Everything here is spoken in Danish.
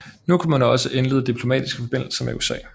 Nu kunne man også indlede diplomatiske forbindelser med USA